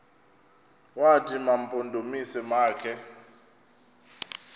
wathi mampondomise makhe